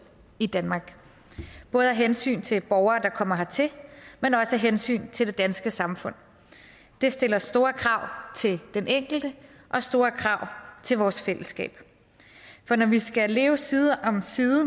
i danmark både af hensyn til borgere der kommer hertil men også af hensyn til det danske samfund det stiller store krav til den enkelte og store krav til vores fællesskab for når vi skal leve side om side